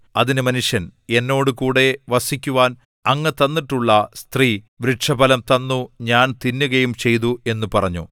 അതിന് മനുഷ്യൻ എന്നോട് കൂടെ വസിക്കുവാൻ അങ്ങ് തന്നിട്ടുള്ള സ്ത്രീ വൃക്ഷഫലം തന്നു ഞാൻ തിന്നുകയും ചെയ്തു എന്നു പറഞ്ഞു